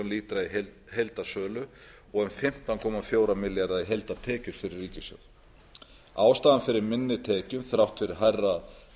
milljónir lítra heildarsölu og um fimmtán komma fjóra milljarða króna heildartekjur fyrir ríkissjóð ástæðuna fyrir minni tekjum þrátt fyrir hærra